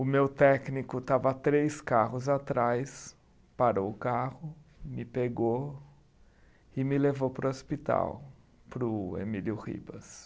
O meu técnico estava três carros atrás, parou o carro, me pegou e me levou para o hospital, para o Emílio Ribas.